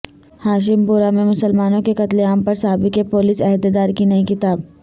ہاشم پورہ میں مسلمانوں کے قتل عام پر سابق پولیس عہدیدار کی نئی کتاب